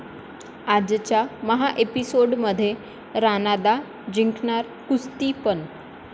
आजच्या महाएपिसोडमध्ये राणादा जिंकणार कुस्ती पण...